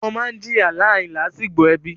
ọmọ máa ń jìyà láàrin làásìgbò ẹbí.